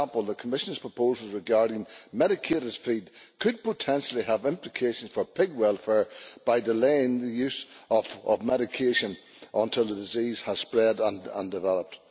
For example, the Commission's proposals regarding medicated feed could potentially have implications for pig welfare by delaying the use of medication until the disease has spread and developed.